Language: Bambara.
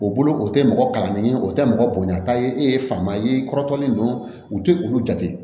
O bolo o tɛ mɔgɔ kalannen ye o tɛ mɔgɔ bonya taa ye e ye fama ye i kɔrɔtɔlen don u tɛ olu jate